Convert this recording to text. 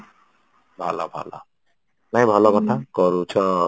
ଭଲ ଭଲ ନାଇଁ ଭଲ କଥା କରୁଛ